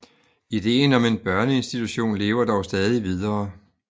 Ideen om en børneinstitution lever dog stadig videre